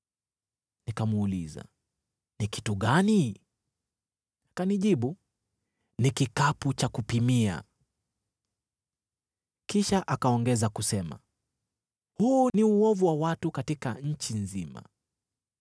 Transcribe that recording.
Nikamuuliza, “Ni kitu gani?” Akanijibu, “Ni kikapu cha kupimia.” Kisha akaongeza kusema, “Huu ni uovu wa watu katika nchi nzima.”